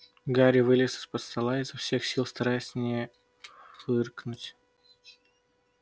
гарри вылез из-под стола изо всех сил стараясь не фыркнуть